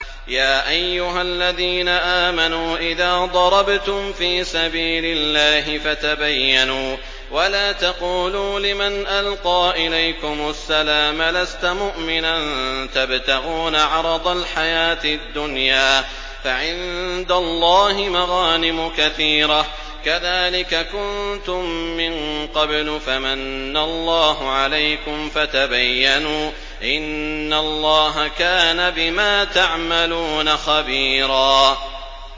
يَا أَيُّهَا الَّذِينَ آمَنُوا إِذَا ضَرَبْتُمْ فِي سَبِيلِ اللَّهِ فَتَبَيَّنُوا وَلَا تَقُولُوا لِمَنْ أَلْقَىٰ إِلَيْكُمُ السَّلَامَ لَسْتَ مُؤْمِنًا تَبْتَغُونَ عَرَضَ الْحَيَاةِ الدُّنْيَا فَعِندَ اللَّهِ مَغَانِمُ كَثِيرَةٌ ۚ كَذَٰلِكَ كُنتُم مِّن قَبْلُ فَمَنَّ اللَّهُ عَلَيْكُمْ فَتَبَيَّنُوا ۚ إِنَّ اللَّهَ كَانَ بِمَا تَعْمَلُونَ خَبِيرًا